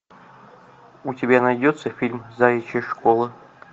у тебя найдется фильм заячья школа